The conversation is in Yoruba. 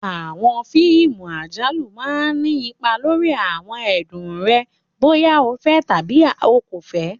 Àwọn fíìmù àjálù máa ni ipa lórí àwọn ẹ̀dùn rẹ bóyá o fẹ́ tàbí o kò fẹ́